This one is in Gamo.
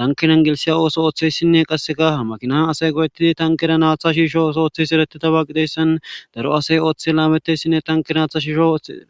tankiren gelisiya ooso ooththeyssinne qasseka haa makinan asay go'ettidi tankira haaththa shiishsho oso ooththiyays eretidaba gideyssan daro asay ooththi laameteyssinne tankin haaththa shiishsho ooththees